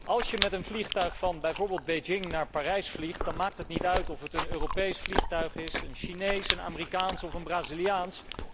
Als je met een vliegtuig bijvoorbeeld van Beijing naar Parijs vliegt, maakt het niet uit of het een Europees vliegtuig is, een Chinees, een Amerikaans of een Braziliaans.